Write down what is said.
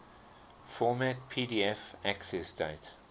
format pdf accessdate